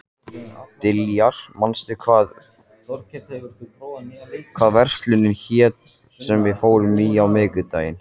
Diljar, manstu hvað verslunin hét sem við fórum í á miðvikudaginn?